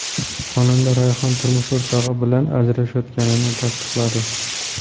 Xonanda Rayhon turmush o‘rtog‘i bilan ajrashayotganini tasdiqladi.